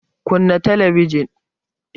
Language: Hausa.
Kunna Kalli ka jin!